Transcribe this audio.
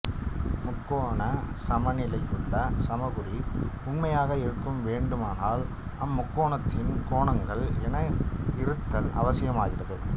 முக்கோணச் சமனிலியிலுள்ள சமக்குறி உண்மையாக இருக்க வேண்டுமானால் அம் முக்கோணத்தின் கோணங்கள் என இருத்தல் அவசியமாகிறது